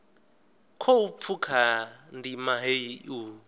khou pfuka ndima heyi u